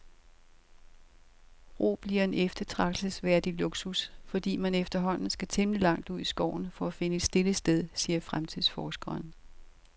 Ro bliver en eftertragtelsesværdig luksus, fordi man efterhånden skal temmelig langt ud i skoven for at finde et stille sted, siger fremtidsforskeren.